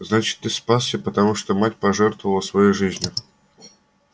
значит ты спасся потому что мать пожертвовала своей жизнью